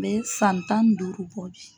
N bɛ san tan ni duuru bɔ bi.